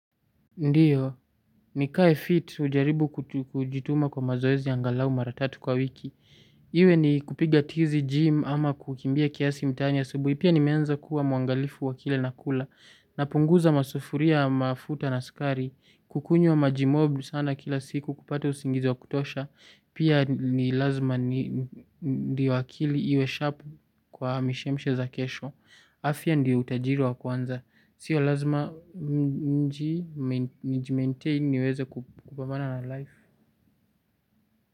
Ndiyo. Nikae fit hujaribu kujituma kwa mazoezi angalau mara tatu kwa wiki. Iwe ni kupiga tizi gym ama kukimbia kiasi mtaani asubuhi. Pia nimeanza kuwa mwangalifu wa kile nakula. Napunguza masufuria mafuta na sukari. Kukunywa maji mob sana kila siku kupata usingizi wa kutosha. Pia ni lazima ndio akili iwe sharp kwa mishemshe za kesho. Afya ndio utajiri wa kwanza. Sio lazima nijimaintain niweze kupambana na life.